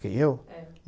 Quem, eu? É.